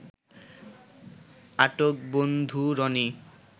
আটক বন্ধু রনি